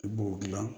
I b'o gilan